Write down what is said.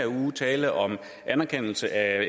uge tale om anerkendelse af